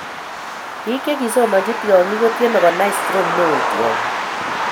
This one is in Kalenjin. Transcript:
Biik che kisomonchi tyongik kotyeme konai stroke neo tyongik